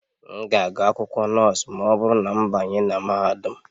M ga-agụ akwụkwọ nọọsụ ma ọ bụrụ na m banye na mahadum